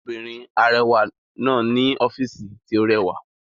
Obìnrin arẹwà náà ní ọ́fìsì tí ó rẹwà